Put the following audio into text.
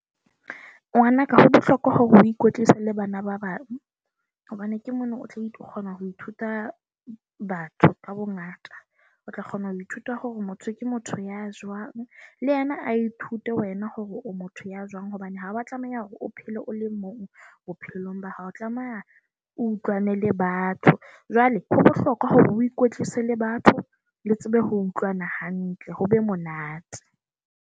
Ngwana ka, ho bohlokwa hore ho ikwetlisa le bana ba bang, hobane ke mono o tlo kgona ho ithuta batho ka bongata. O tla kgona ho ithuta hore motho ke motho ya jwang. Le yena a ithute wena hore motho ya jwang. Hobane ha wa tlameha hore o phele o le mong bophelong ba hao, tlameha o utlwane le batho. Jwale ho bohlokwa hore o ikwetlise le batho le tsebe ho utlwana hantle, ho be monate